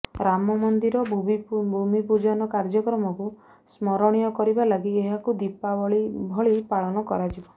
ରାମ ମନ୍ଦିର ଭୂମି ପୂଜନ କାର୍ଯ୍ୟକ୍ରମକୁ ସ୍ମରଣୀୟ କରିବା ଲାଗି ଏହାକୁ ଦୀପାବଳି ଭଳି ପାଳନ କରାଯିବ